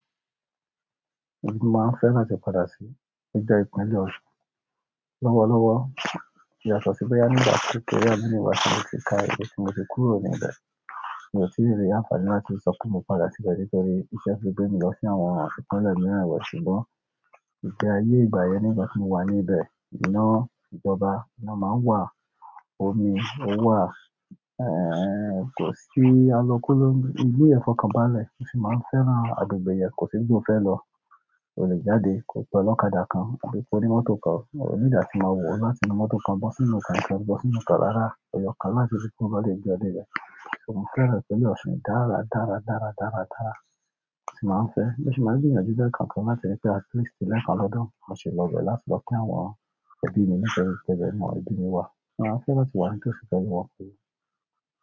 Èmi máa ń fẹ́ láti padà sí ìgbẹ́ ìpínlẹ̀ Ọ̀ṣun lówó lówó. Ìyàsọ̀tọ̀ sí bo yá ní ìgbà tí kò rí ẹ̀yin ní ìgbà tí mo ti ka ètò tí mo ti kúrò ní ibẹ̀. Mi ò tí rí àǹfààní láti sọ pé mo padà síbẹ̀ nítorí iṣẹ́ ti gbé mi lọ sí àwọn ìpínlẹ̀ mìíràn lọ̀ ṣùgbọ́n. Ìfẹ́ ayé ìgbà yẹn ní ìgbà tí mo wà ní ibẹ̀, iná ìjọba ina máa ń wà, omi ò wà, kò sí alọ kolonkigbe, ìlú yen fọkànbalẹ̀, mo sì máa ń fẹ́ran agbègbè yẹn, kò sí ibi mo fẹ́ lọ. O lè jáde, kò pẹ́ lọ́kadà kan tàbí kó pe oni mọ́tò kan. Mi o need atí màá wò láti inú mọ́tò kan bọ́ sínú ọkàn, bọ́ sínú ọkọ̀ rárá, eyokan na ni láti ibi to ba dẹ gbé wa dẹ ni. Mo fẹ́ràn ìpínlẹ̀ ọ̀ṣun dára, dára, dára, dára, dára tí màá ń fẹ́. Mo si maa n gbìyànjú lẹ́ẹ̀ kan kan láti rí pé at least lé kan lọ́dun, màá sì lọ bẹ̀ẹ́ láti lọ kí àwọn ẹbí mi, nítorí ibe ni gbogbo àwọn ẹbí mi wà. Màá fẹ́ láti wá níbi ti ó sì tẹ́lẹ̀ wọn fún mi.